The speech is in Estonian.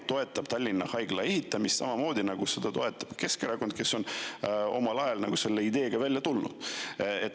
Te toetate Tallinna Haigla ehitamist samamoodi, nagu seda toetab Keskerakond, kes on omal ajal selle ideega välja tulnud.